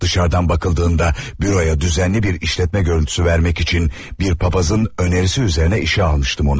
Dışarıdan bakıldığında büroya düzenli bir işletme görüntüsü vermək üçün bir papazın önerisi üzərinə işə almışdım onu.